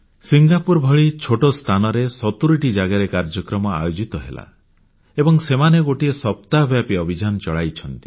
Singapore ଭଳି ଛୋଟ ସ୍ଥାନରେ 70ଟି ଜାଗାରେ କାର୍ଯ୍ୟକ୍ରମ ଆୟୋଜିତ ହେଲା ଏବଂ ସେମାନେ ଗୋଟିଏ ସପ୍ତାହବ୍ୟାପୀ ଅଭିଯାନ ଚଳାଇଛନ୍ତି